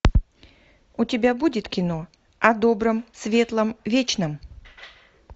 у тебя будет кино о добром светлом вечном